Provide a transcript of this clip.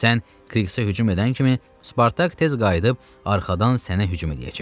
Sən Kriqsə hücum edən kimi Spartak tez qayıdıb arxadan sənə hücum eləyəcək.